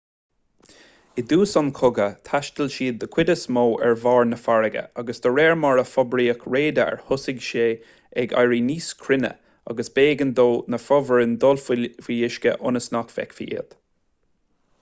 i dtús an chogaidh thaistil siad den chuid is mó ar bharr na farraige ach de réir mar a forbraíodh radar thosaigh sé ag éirí níos cruinne agus b'éigean do na fomhuireáin dul faoi uisce ionas nach bhfeicfí iad